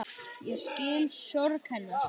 Ég skil sorg hennar.